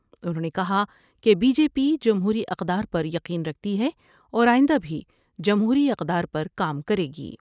انھوں نے کہا کہ بی جے پی جمہوری اقدار پر یقین رکھتی ہے اور آئندہ بھی جمہوری اقدار پر کام کرے گی ۔